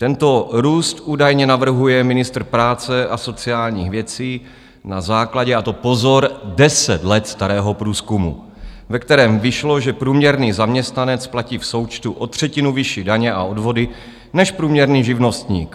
Tento růst údajně navrhuje ministr práce a sociálních věcí na základě - a to pozor - deset let starého průzkumu, ve kterém vyšlo, že průměrný zaměstnanec platí v součtu o třetinu vyšší daně a odvody než průměrný živnostník.